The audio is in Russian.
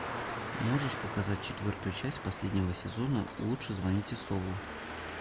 можешь показать четвертую часть последнего сезона лучше звоните солу